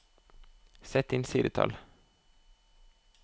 Sett inn sidetall